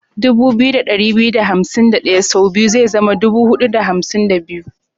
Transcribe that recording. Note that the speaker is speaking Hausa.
2251 sau biyu zai zama 4502.